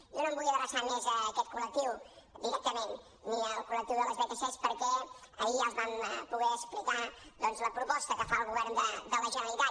jo no em vull adreçar més a aquest col·lectiu directament ni al col·lectiu de les vtc perquè ahir ja els vam poder explicar la proposta que fa el govern de la generalitat